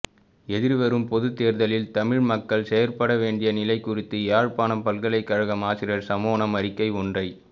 எதிர்வரும் பொதுத்தேர்தலில் தமிழ்மக்கள் செயற்படவேண்டிய நிலை குறித்து யாழ்ப்பாண பல்கலைக்கழக ஆசிரியர் சம்மேளனம் அறிக்கை ஒன்றை